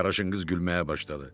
Qaraşın qız gülməyə başladı.